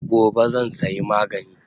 Gobe zan saya magani